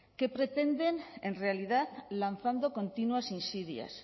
qué pretenden en realidad lanzando continuas insidias